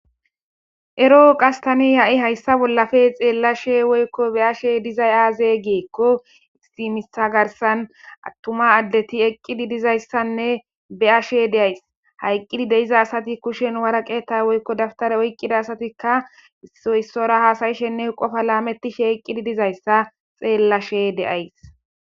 Ero oqastani ya'i hayssa bollafe xeella she woykko beashe dizay aaze geekko isimisa garsan attuma addeti eqqidi dizayssanne beyashe deays hayqqidi deiza asati kushen wara qeeta woykko dabtare oyqqida asatikka iissora haasayishenne qofa laamettishe eqqidi dizayssa xeellashe deays.